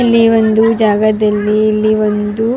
ಮಕ್ಕಳನ್ನು ಕರೆದುಕೊಂಡು ರಜೆದಲ್ಲಿ ಹೋಗಿದ್ದೇವು.